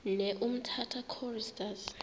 ne umtata choristers